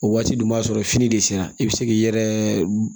O waati dun b'a sɔrɔ fini de sera i be se k'i yɛrɛ